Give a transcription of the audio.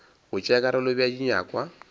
go tšea karolo bea dinyakwa